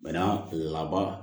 Bɛnna laban